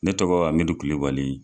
Ne tɔgɔ Amidu Kulubali.